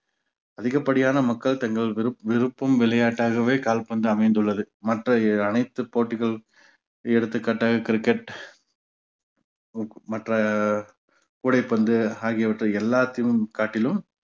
அதிகப்படியான மக்கள் தங்கள் விரு~ விருப்பும் விளையாட்டாகவே கால்பந்து அமைந்துள்ளது. மற்ற அனைத்து போட்டிகள் எடுத்துக்காட்டாக கிரிக்கெட் மற்ற கூடைப்பந்து ஆகியவற்றை எல்லாத்திலும் காட்டிலும்